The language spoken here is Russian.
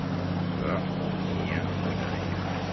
а я да я